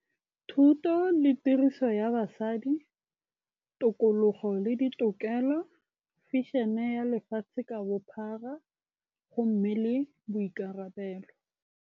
Thuto le tiriso ya basadi, tokologo le ditokelo, fashion-e ya lefatshe ka bophara gomme le boikarabelo.